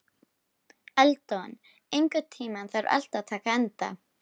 Eldon, einhvern tímann þarf allt að taka enda.